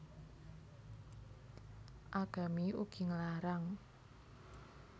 Agami ugi nglarang